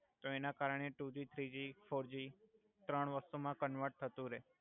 તો એના કરણે ટુજી થ્રીજી ફોરજી ત્રણ વસ્તુ મા કંવર્ટ થતુ રેય